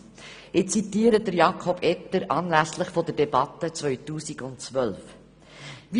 Ich zitiere Jakob Etter anlässlich der Debatte von 2013: